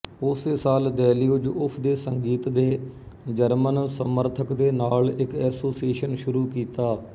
ਉਸੇ ਸਾਲ ਦੈਲਿਊਜ ਉਸ ਦੇ ਸੰਗੀਤ ਦੇ ਜਰਮਨ ਸਮਰਥਕ ਦੇ ਨਾਲ ਇੱਕ ਐਸੋਸੀਏਸ਼ਨ ਸ਼ੁਰੂ ਕੀਤਾ